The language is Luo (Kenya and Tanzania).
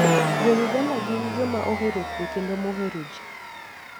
Jo-Uganda gin joma ohero kuwe kendo mohero ji.